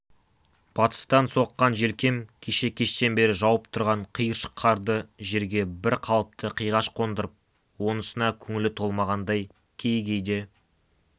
батыстан соққан желкем кеше кештен бері жауып тұрған қиыршық қарды жерге бір қалыпты қиғаш қондырып онысына көңілі толмағандай кей-кейде